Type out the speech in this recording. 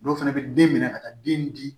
Dɔw fana bɛ den minɛ ka taa den di